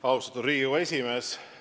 Austatud Riigikogu esimees!